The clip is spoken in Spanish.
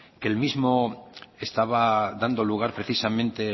que el mismo estaba dando lugar precisamente